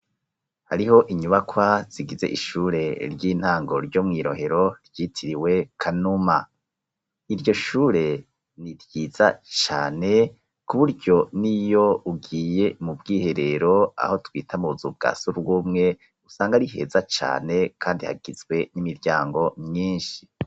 Hariho inyubakwa zigize ishure ry'intango ryo mw'i rohero ryitiriwe kanuma iryo shure niryiza cyane ku buryo niyo ugiye mu bwiherero aho twita muza ubwasorwumwe usanga riheza cane kandi hagizwe n'imiryango myinshi.